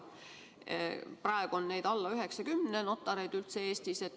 Praegu on notareid Eestis alla 90.